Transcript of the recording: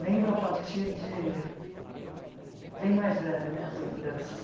Lembro a partir de... Bem mais velha, minhas lembranças.